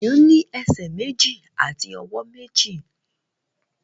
Èèyàn ní ẹsẹ̀ méjì àti ọwọ́ méjì